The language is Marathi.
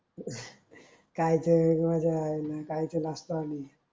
मजा आहे मंग काय लाजतो आम्ही